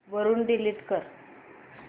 वरून डिलीट कर